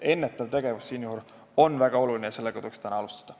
Ennetav tegevus on väga oluline, sellega tuleks juba täna alustada.